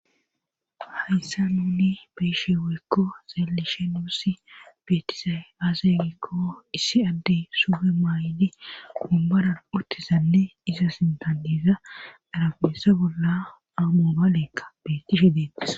hayasan nuuni beyishe woykko xelishe nuussi beetizay aazaegikko issi addey suge maay7di umbaran uttizanne iza sintadiza garabesa bolla amo baleekka betishe deetes